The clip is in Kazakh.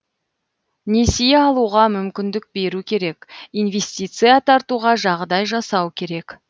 несие алуға мүмкіндік беру керек инвестиция тартуға жағдай жасау керек